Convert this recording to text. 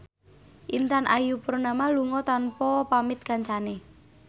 Intan Ayu Purnama lunga tanpa pamit kancane